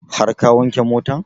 Har ka wanke motan?